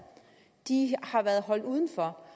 de har været holdt udenfor